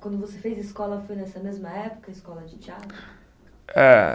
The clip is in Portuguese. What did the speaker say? Quando você fez escola, foi nessa mesma época, escola de teatro? Eh